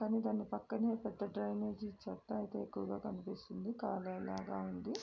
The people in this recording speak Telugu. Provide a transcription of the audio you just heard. కానీ దాని పక్కనే పెద్ద డ్రైనేజీ చెత్త అయితే ఎక్కువగా కనిపిస్తుంది కాలువ లాగా ఉంది.